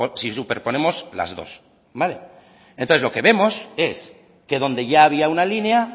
si superponemos las dos entonces lo que vemos es que donde ya había una línea